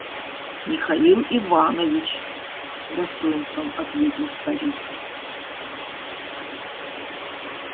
михаил иванович с достоинством ответил старик